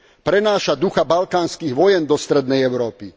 Prenáša ducha balkánskych vojen do strednej Európy.